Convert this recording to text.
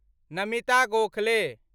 Namita Gokhale